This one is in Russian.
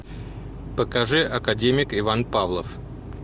покажи академик иван павлов